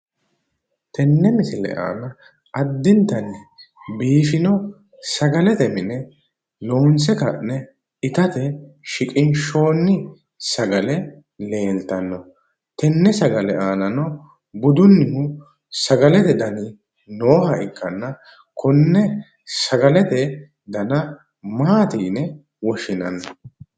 Tenne misile aana addintanni biifino sagalete mine loonse ka'ne itate shiqinshoonni sagale aanano budunnihu sagalete dani nooha ikkanna konne sagalete dana maati yine woshshinanni?